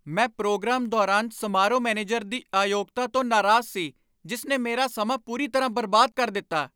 ਮੈਂ ਪ੍ਰੋਗਰਾਮ ਦੌਰਾਨ ਸਮਾਰੋਹ ਮੈਨੇਜਰ ਦੀ ਅਯੋਗਤਾ ਤੋਂ ਨਾਰਾਜ਼ ਸੀ ਜਿਸ ਨੇ ਮੇਰਾ ਸਮਾਂ ਪੂਰੀ ਤਰ੍ਹਾਂ ਬਰਬਾਦ ਕਰ ਦਿੱਤਾ।